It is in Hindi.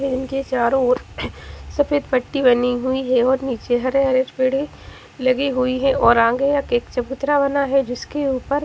रिंग के चारो और सफ़ेद पट्टी बनी है और निचे हरे हरे लगे हुयी है और आगे एक चबूतरा बना है जिसके ऊपर --